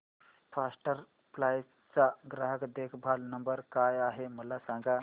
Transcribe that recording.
first flight चा ग्राहक देखभाल नंबर काय आहे मला सांग